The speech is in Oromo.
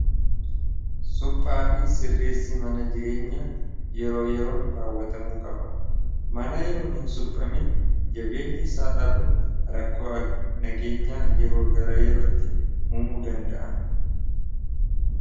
suphaa fi sirreessi mana jireenya yeroo yeroon raawwatamuu qaba mana yeroon hin suphamin jabeenya isaa dhabuun rakkooa nageenyaa yeroo gara yerootti umuu danda'a